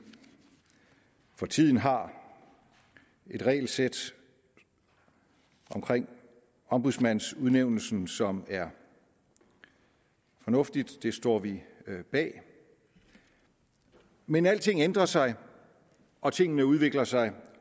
for tiden har et regelsæt omkring ombudsmandsudnævnelsen som er fornuftigt det står vi bag men alting ændrer sig og tingene udvikler sig